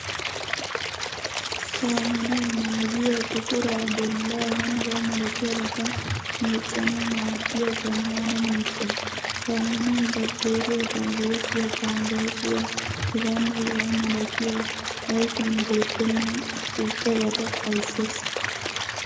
Saamunay maayuwaa, buquraa, bollaa, h.h.m meeccanawu maaddiya zammaana miishsha. Saamunay bakitteeriya, vayireesiya, fanggaasiyaa hegaanne hegaa milatiya ayfiyan beettenna suuppabata xayssees.